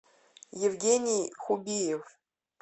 евгений хубиев